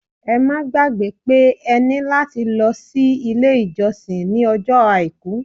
Ẹ má gbàgbẹ́ pé ẹ ní láti lọ sí ilé-ìjọsìn ní ọjọ́ Àìkú.